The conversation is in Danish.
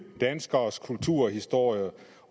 danskeres kultur og historie